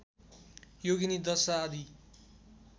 योगिनी दशा आदि